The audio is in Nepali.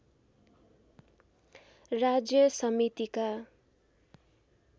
राज्य समितिका